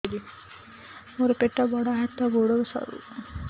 ମୋର ପେଟ ବଡ ହାତ ଗୋଡ ସରୁ